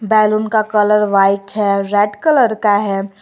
Balloon का colour white है red colour का है।